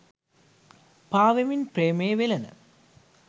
පා වෙමින් ප්‍රේමයේ වෙළෙන